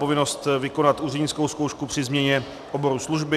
Povinnost vykonat úřednickou zkoušku při změně oboru služby.